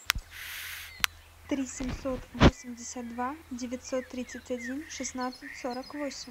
три семьсот восемьдесят два девятьсот тридцать один шестнадцать сорок восемь